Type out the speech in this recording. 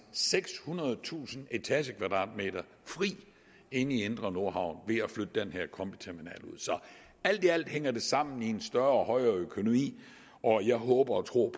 sekshundredetusind etagekvadratmeter fri inde i indre nordhavn ved at flytte den her combiterminal ud så alt i alt hænger det sammen i en større og højere økonomi og jeg håber og tror